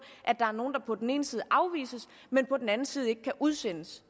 at der er nogle der på den ene side afvises men på den anden side ikke kan udsendes